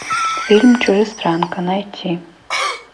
фильм чужестранка найти